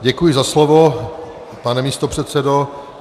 Děkuji za slovo, pane místopředsedo.